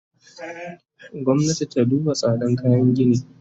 Gwamnati ta duba tsadan kayan gini!